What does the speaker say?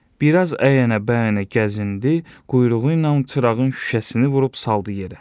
Bir az əyənə-bəyənə gəzindi, quyruğu ilə çırağın şüşəsini vurub saldı yerə.